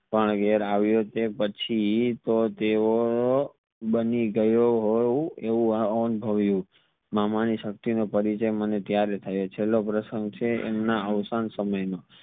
પણ ઘેર આવ્યો તે પછી તો તેઓ બની ગયો હોવ તેવું અનુભવ્યું મામા ની સકતી નો પરિચય ત્યરેહ થયો છેલ્લો પ્રસંગ છે એમના અવસાન સમય નો